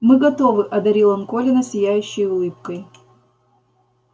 мы готовы одарил он колина сияющей улыбкой